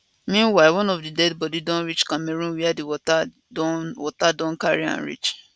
meanwhile one of di deadi body don reach cameroon wia di water don water don carry am reach